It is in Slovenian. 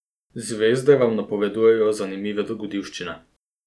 Zvezde vam napovedujejo zanimive dogodivščine.